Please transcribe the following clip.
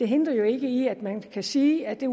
hindrer jo ikke at man kan sige at